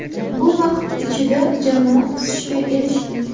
Bu vaqt ichida jamoa o‘sishga erishdi.